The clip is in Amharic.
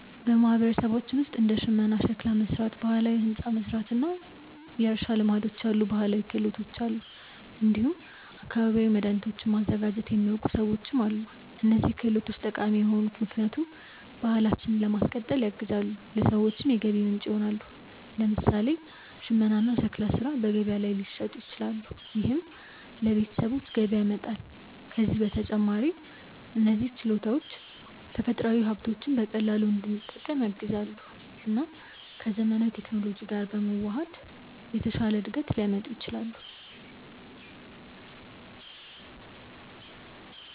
በማህበረሰባችን ውስጥ እንደ ሽመና፣ ሸክላ መሥራት፣ ባህላዊ ሕንፃ መሥራት እና የእርሻ ልማዶች ያሉ ባህላዊ ክህሎቶች አሉ። እንዲሁም አካባቢያዊ መድኃኒቶችን ማዘጋጀት የሚያውቁ ሰዎችም አሉ። እነዚህ ክህሎቶች ጠቃሚ የሆኑት ምክንያቱም ባህላችንን ለማስቀጠል ያግዛሉ፣ ለሰዎችም የገቢ ምንጭ ይሆናሉ። ለምሳሌ ሽመና እና ሸክላ ሥራ በገበያ ላይ ሊሸጡ ይችላሉ፣ ይህም ለቤተሰቦች ገቢ ያመጣል። ከዚህ በተጨማሪ እነዚህ ችሎታዎች ተፈጥሯዊ ሀብቶችን በቀላሉ እንድንጠቀም ያግዛሉ እና ከዘመናዊ ቴክኖሎጂ ጋር በመዋሃድ የተሻለ እድገት ሊያመጡ ይችላሉ።